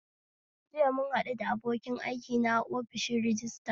JIya muhaɗu da abokin aikina a ofishin rajistira